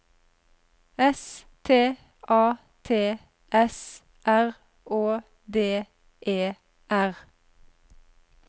S T A T S R Å D E R